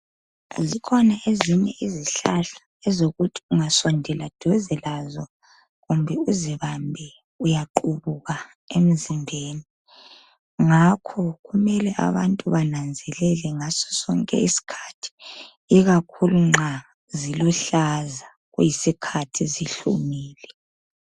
Zikhona ezinye izihlahla ezokuthi ungasondela duze lazo kumbe uzibambe uyaqhubuka emzimbeni. Ngakho kumele abantu bananzelele ngaso sonke isikhathi. Ikakhulu nxa ziluhlaza kuyisikhathi zihlumile.